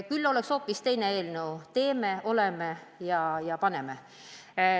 Muul juhul oleks hoopis teine eelnõu: teeme, oleme ja paneme.